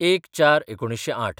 ०१/०४/१९०८